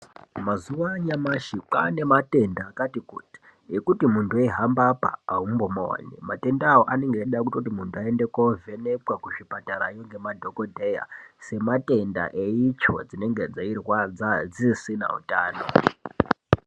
Mazuwa anyamashi kwane matenda akati kuti ekuti muntu eihamaba apa aumbomaoni matenda aya anenge eida kuti muntu aende kovhenekwa kuzvipatara ngemadhokodheya sematenda eitsvo dzinenge dzeirwadza dzisisina utano.